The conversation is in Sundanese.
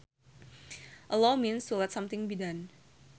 Allow means to let something be done